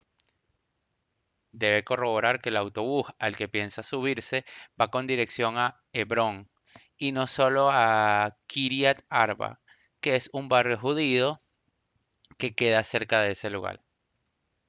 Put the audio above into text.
debe corroborar que el autobús al que piensa subirse va con dirección a hebrón y no solo a kyriat arba que es un barrio judío que queda cerca de ese lugar